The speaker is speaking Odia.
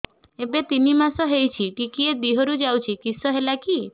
ଏବେ ତିନ୍ ମାସ ହେଇଛି ଟିକିଏ ଦିହରୁ ଯାଉଛି କିଶ ହେଲାକି